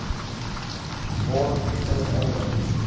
word ten einde